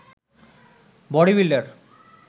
body builder